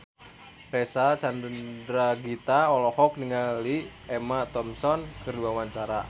Reysa Chandragitta olohok ningali Emma Thompson keur diwawancara